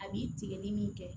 A b'i tigɛ ni min kɛ